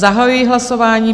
Zahajuji hlasování.